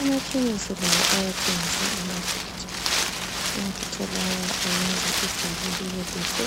Emakhemisi lakho kuyathengiswa amafutha, amafutha lawa ayenza injwabu libe lihle